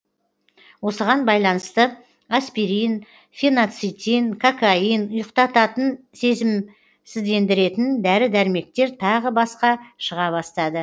осыған байланысты аспирин фенацитин кокаин ұйықтататын сезімсіздендіретін дәрі дәрмектер тағы басқа шыға бастады